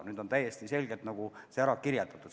Nüüd on see täiesti selgelt ära kirjeldatud.